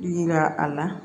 Yira a la